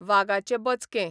वागाचे बचके